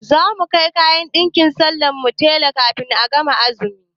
Za mu kai ɗinkin sallan mu ma tela kafin a gama azumi.